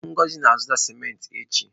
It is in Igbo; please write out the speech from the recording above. Ngozi na-azụta cimenti echi.